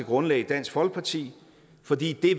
grundlag i dansk folkeparti fordi det